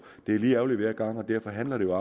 det er lige ærgerligt hver gang derfor handler det